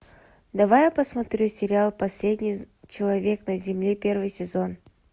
давай я посмотрю сериал последний человек на земле первый сезон